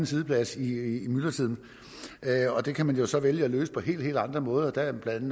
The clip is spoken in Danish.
siddeplads i myldretiden og det kan man jo så vælge at løse på helt helt andre måder der er blandt